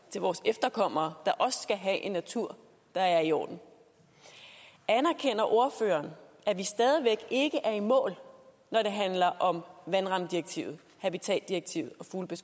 vores efterkommere der også skal have en natur der er i orden anerkender ordføreren at vi stadig væk ikke er i mål når det handler om vandrammedirektivet habitatdirektivet